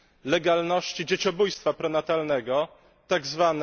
legalności dzieciobójstwa prenatalnego, tzw.